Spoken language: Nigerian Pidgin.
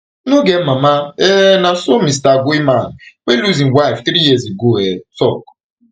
no get mama um na so mr goeieman wey lose im wife three years ago um tok